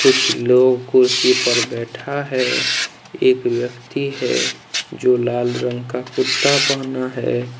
कुछ लोग कुर्सी पर बैठा है एक व्यक्ति है जो लाल रंग का कुर्ता पहना है।